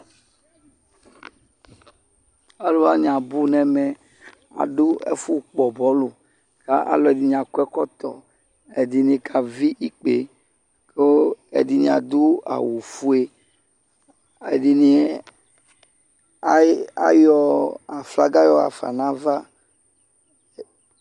Ali wane abu nɛmɛ Ado ɛfo kpɔ bɔlu ka aluɛde akɔ ɛkɔtɔƐdene kavi ikpe ko ɛdene ado awufue Adene, ayi, ayɔ aflaga yahafa nava